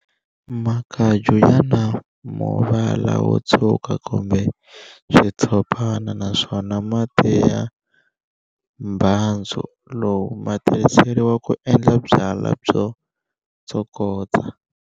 Makaju yana muvala wotshuka kumbe xitshopana na swona mati ya mbhandzu lowu ma tirhiseriwa ku endla byala byo tsokotsa.